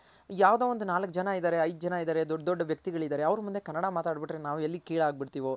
ಇದ್ ಯಾವ್ದೋ ಒಂದು ನಾಲ್ಕ್ ಜನ ಇದಾರೆ ಐದ್ ಜನ ಇದಾರೆ ದೊಡ್ಡ್ ದೊಡ್ ವ್ಯಕ್ತಿಗಲಿದಾರೆ ಅವ್ರ್ ಮುಂದೆ ಕನ್ನಡ ಮಾತಾಡ್ ಬಿಟ್ರೆ ನಾವ್ ಎಲ್ ಕಿಳಾಗ್ಬಿಡ್ತಿವೋ